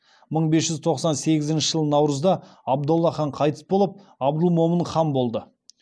мың бес жүз тоқсан сегізінші жылы наурызда абдолла хан қайтыс болып абдылмомын хан болды